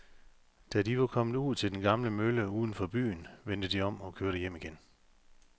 Da de var kommet ud til den gamle mølle uden for byen, vendte de om og kørte hjem igen.